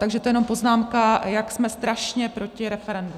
Takže to jenom poznámka, jak jsme strašně proti referendu.